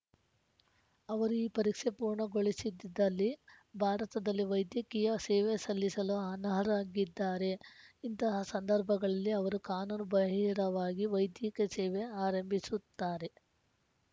ಅವರು ಈ ಪರೀಕ್ಷೆ ಪೂರ್ಣಗೊಳಿಸದಿದ್ದಲ್ಲಿ ಭಾರತದಲ್ಲಿ ವೈದ್ಯಕೀಯ ಸೇವೆ ಸಲ್ಲಿಸಲು ಅನರ್ಹರಾಗಿದ್ದಾರೆ ಇಂತಹ ಸಂದರ್ಭಗಳಲ್ಲಿ ಅವರು ಕಾನೂನು ಬಾಹಿರವಾಗಿ ವೈದ್ಯಕೀಯ ಸೇವೆ ಆರಂಭಿಸುತ್ತಾರೆ